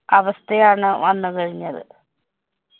അവസ്ഥയാണ് വന്നു കഴിഞ്ഞത്.